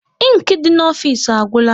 Inki dị n'ofisi agwụla